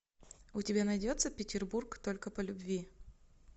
у тебя найдется петербург только по любви